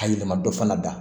A yɛlɛma dɔ fana da